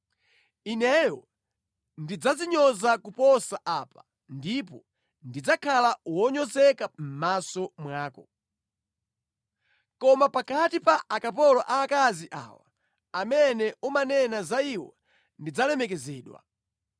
Ineyo ndidzadzinyoza kuposa apa, ndipo ndidzakhala wonyozeka mʼmaso mwako. Koma pakati pa akapolo aakazi awa amene umanena za iwo, ndidzalemekezedwa.”